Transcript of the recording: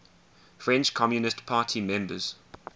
french communist party members